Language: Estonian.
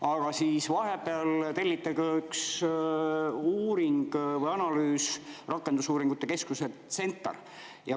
Aga vahepeal telliti ka üks uuring või analüüs Rakendusuuringute Keskuselt CentAR.